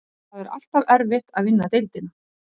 Það er alltaf erfitt að vinna deildina.